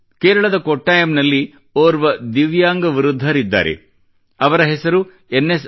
ಕೇರಳದ ಕೊಟ್ಟಾಯಂನಲ್ಲಿ ಓರ್ವ ದಿವ್ಯಾಂಗ ವೃದ್ಧರಿದ್ದಾರೆ ಅವರ ಹೆಸರು ಎನ್ ಎಸ್